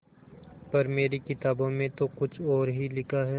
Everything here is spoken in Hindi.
पर मेरी किताबों में तो कुछ और ही लिखा है